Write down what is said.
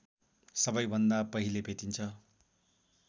सबैभन्दा पहिले भेटिन्छ